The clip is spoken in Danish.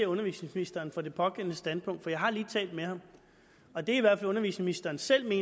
undervisningsministeren for det pågældende standpunkt for jeg har lige talt med ham og det undervisningsministeren i